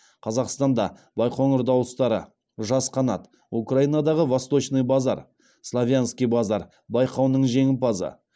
қазақстанда байқоңыр дауыстары жас қанат украинадағы восточный базар славянский базар байқауының жеңімпазы